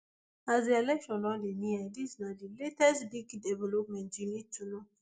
as di election don dey near dis na di latest big developments you need to know